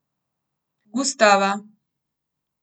Gustava.